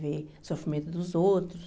Ver o sofrimento dos outros.